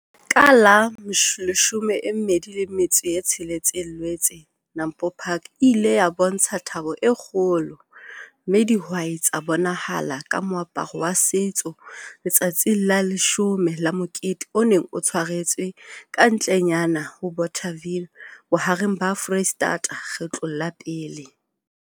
Ka la 26 Loetse NAMPO PARK e ile ya bontsha thabo e kgolo, mme dihwai tsa bonahala ka moaparo wa setso letsatsing la leshome la Mokete o neng o tshwaretswe kantlenyana ho Bothaville bohareng ba Foreisetata kgetlong la pele.